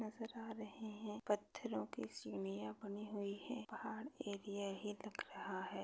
नजर आ रहे है। पत्थरोंके सिडिया बनी हुइ है। पहाड़ एरिया ही लग रहा है।